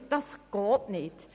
Das geht nicht.